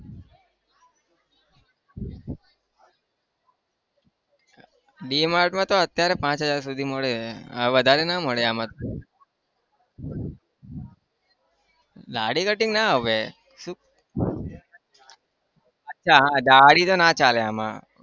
DMart માં તો અત્યારે પાંચ હજાર સુધી મળી રહે વધારે ના મળે આમાં તો દાઢી cutting ના હવે શું એ હા દાઢી તો ના ચાલે આમાં